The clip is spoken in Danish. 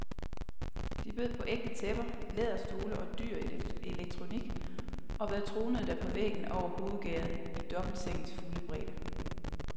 De bød på ægte tæpper, læderstole og dyr elektronik, og hvad tronede der på væggen over hovedgærdet, i dobbeltsengens fulde bredde?